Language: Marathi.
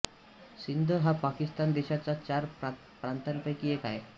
सिंध हा पाकिस्तान देशाच्या चार प्रांतांपैकी एक आहे